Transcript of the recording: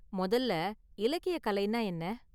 முதல்ல இலக்கிய கலைனா என்ன?